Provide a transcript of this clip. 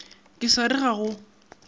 ke sa re ga go